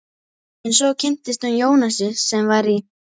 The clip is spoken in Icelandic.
En svo kynntist hún Jónasi sem var í